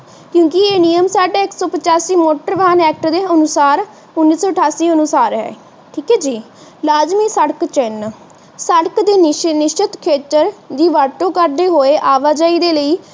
ਕਿਉਕਿ ਇਹ ਨਿਯਮ ਸਾਡੇ ਇਕ ਸੋ ਪਚਾਸੀ ਮੋਟਰ ਵਹਾਂ ਐਕਟ ਦੇ ਅਨੁਸਾਰ ਉਣੀ ਸੋ ਅਠਾਸੀ ਦੇ ਅਨੁਸਾਰ ਹੈ ਠੀਕ ਹੈ ਜੀ ਲਾਜਮੀ ਸੜਕ ਚੀਨ ਸੜਕ ਦੇ ਨਿਸ਼ਚਿਤ ਖੇਤਰ ਦੀ ਵਰਤੋਂ ਕਰਦੇ ਹੋਏ ਆਵਾਜਾਈ ਦੇ ਲਈ